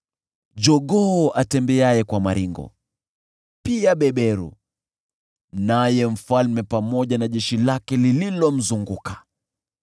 jogoo atembeaye kwa maringo, pia beberu, naye mfalme pamoja na jeshi lake lililomzunguka.